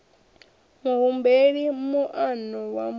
muhumbeli moano wa muṋe wa